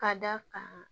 Ka d'a kan